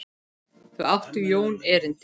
Við þau átti Jón erindi.